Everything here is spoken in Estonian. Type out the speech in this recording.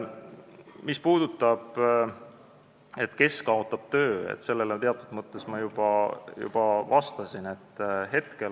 Mis puudutab seda küsimust, kes kaotab töö, siis sellele ma teatud mõttes juba vastasin.